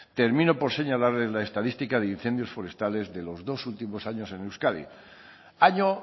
termino por señalarles la estadística de incendios forestales de los dos últimos años en euskadi año